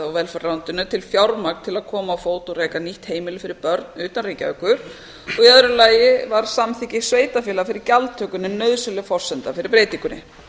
og velferðarráðuneytinu til fjármagn til að koma á fót og reka nýtt heimili fyrir börn utan reykjavíkur og í öðru lagi var samþykki sveitarfélaga fyrir gjaldtöku nauðsynleg forsenda fyrir breytingunni